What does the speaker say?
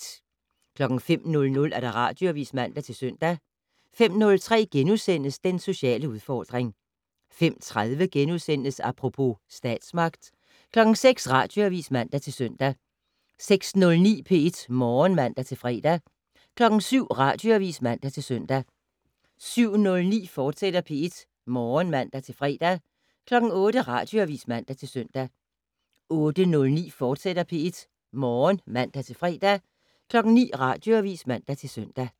05:00: Radioavis (man-søn) 05:03: Den sociale udfordring * 05:30: Apropos - statsmagt * 06:00: Radioavis (man-søn) 06:09: P1 Morgen (man-fre) 07:00: Radioavis (man-søn) 07:09: P1 Morgen, fortsat (man-fre) 08:00: Radioavis (man-søn) 08:09: P1 Morgen, fortsat (man-fre) 09:00: Radioavis (man-søn)